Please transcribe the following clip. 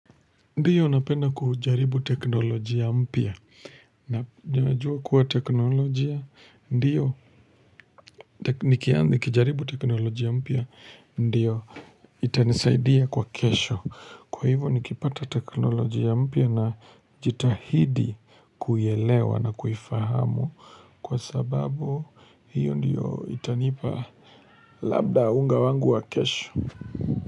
Ndiyo napenda kujaribu teknolojia mpya na nja jua kuwa teknolojia ndiyo nikianzi kijaribu teknolojia mpya ndiyo itanisaidia kwa kesho kwa hivyo nikipata teknolojia mpia na jitahidi kuielewa na kuifahamu kwa sababu hiyo ndiyo itanipa labda unga wangu wa kesho.